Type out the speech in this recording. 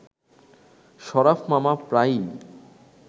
শরাফ মামা প্রায়ই